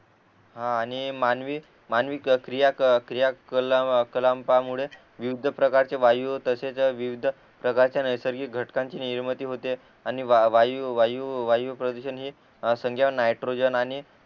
हा आणि मानवी मानवी क्रिया क्रिया कलाम्पामुळे विविध प्रकारचे वायू तसेच विविध प्रकारच्या नैसर्गिक घटकांची निर्मिती होते आणि वायू वायू प्रदूषण हे समझा नायट्रोजन आणि